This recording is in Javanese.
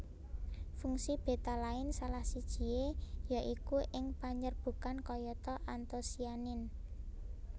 Fungsi betalain salah sijie ya iku ing panyerbukan kayata antosianin